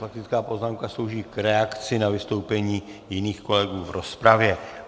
Faktická poznámka slouží k reakci na vystoupení jiných kolegů v rozpravě.